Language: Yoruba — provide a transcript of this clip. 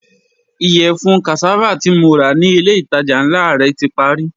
Iyẹfun cassava ti mo ra ni ile itaja nla rẹ ti pari